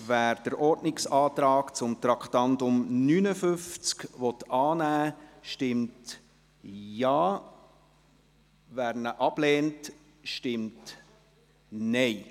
Wer den Ordnungsantrag zum Traktandum 59 annehmen will, stimmt Ja, wer diesen ablehnt, stimmt Nein.